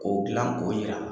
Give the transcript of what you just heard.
K'o dilan k'o yir'a la.